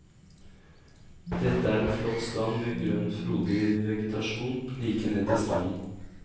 Dette er en flott strand med grønn frodig vegetasjon like ned til stranden.